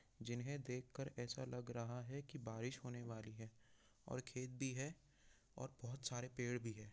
यह एक nature landscape है इसमें दो पहाड़ दिख रहा है इसके ऊपर खुबशूरत बादल दिख रहे है जिन्हें देख के ऐसा लग रहा हे बारिश होने वाली है और खेत भी है और बहुत सारे पेड़ भी है।